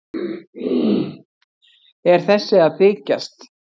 Er þessi að þykjast?